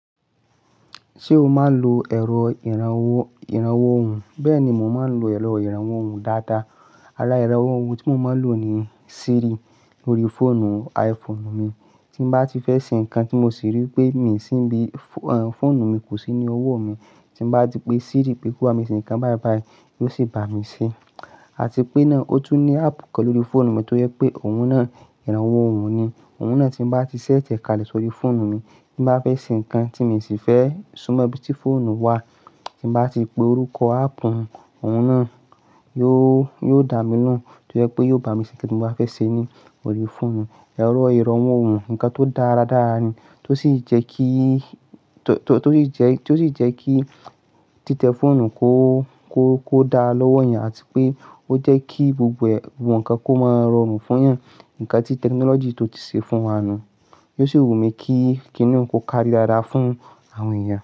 Ṣé o máa ń lo ẹ̀rọ ìrànwọ́ òhùn? Bẹ́ẹ̀ ni, mo máa ń lo ẹ̀rọ ìrànwọ́ òhùn dáadáa. Ara ìrànwọ́ òhùn tí mo máa ń lò ni Siri lórí fóònù iPhone mi. Tí mo bá ti fẹ́ ṣe nǹkan tí mo sì rí pé mi sì bí fóònù mi kò sí ní ọwọ́ mi, tí mo bá ti pe Siri pé kó bá mi ṣe nǹkan báìbái, yóò sì bá mi ṣe. Àti pé náà, ó tún ní app kan lórí fóònù mi tó jẹ́ pé òun náà ìrànwọ́ òhùn ni. Òun náà tí mo bá ti set ẹ̀ káàlẹ̀ sórí fóònù mi, tí mo bá fẹ́ ṣe nǹkan tí mi sì fẹ́ súnmọ́ ibi tí fóònù wà, tí mo bá ti pe orúkọ áàpù òun náà, yóò, yóò dá mi lóhùn. Tó jẹ́ pé yóò bá mi ṣe ohun tí mo bá fẹ́ ṣe ni lórí fóònù. Ẹ̀rọ ìrànwọ́ òhùn, nǹkan tó dára dára ni. Tó sì jẹ́ kí, tó sì jẹ́, tó sì jẹ́ kí títẹ fóònù kó, kó, kó dára lọ́wọ́ èèyàn àti pé ó jẹ́ kí gbogbo ẹ̀wọ̀n kan kó máa rọrùn fún èèyàn. Nǹkan tí technology tó ti ṣe fún wa nu. Yóò sì wù mí kí, kí inú u kó kárí dáda fún àwọn èèyàn.